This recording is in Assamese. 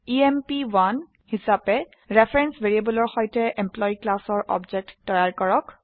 এম্প1 হিসাবে ৰেফাৰেন্স ভ্যাৰেয়েবলৰ সৈতে এমপ্লয়ী ক্লাসৰ অবজেক্ট তৈয়াৰ কৰক